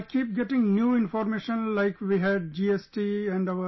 I keep getting new information like we had GST and our